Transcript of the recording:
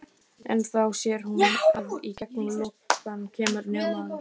En þá sér hún að í gegnum logana kemur maður.